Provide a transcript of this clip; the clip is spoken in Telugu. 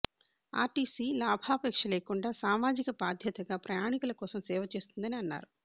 ఆర్టీసి లాభాపేక్ష లేకుండా సామాజిక బాధ్యతగా ప్రయాణికుల కోసం సేవ చేస్తుందని అన్నారు